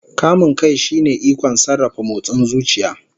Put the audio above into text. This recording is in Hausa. Kamun kai shine ikon sarrafa motsin zuciya.